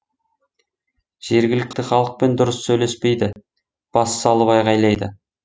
жергілікті халықпен дұрыс сөйлеспейді бас салып айғайлайды